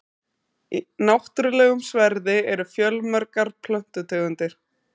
í náttúrulegum sverði eru fjölmargar plöntutegundir